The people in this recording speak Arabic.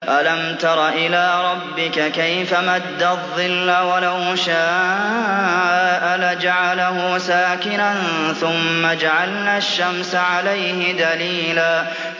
أَلَمْ تَرَ إِلَىٰ رَبِّكَ كَيْفَ مَدَّ الظِّلَّ وَلَوْ شَاءَ لَجَعَلَهُ سَاكِنًا ثُمَّ جَعَلْنَا الشَّمْسَ عَلَيْهِ دَلِيلًا